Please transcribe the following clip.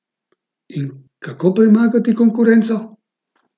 In kako premagati konkurenco?